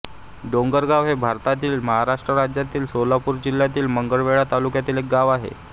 डोंगरगाव हे भारतातील महाराष्ट्र राज्यातील सोलापूर जिल्ह्यातील मंगळवेढा तालुक्यातील एक गाव आहे